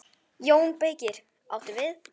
JÓN BEYKIR: Áttu við.